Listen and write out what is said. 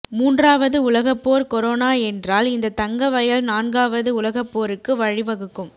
மூன்றாவது உலக போர் கொரோன என்றால் இந்த தங்க வயல் நான்காவது உலகப்போருக்கு வழி வகுக்கும்